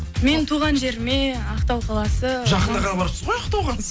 мен туған жеріме ақтау қаласы жақында ғана барыпсыз ғой ақтауға